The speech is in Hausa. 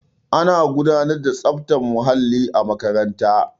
ana gudanar da tsaftar muhalli a makaranta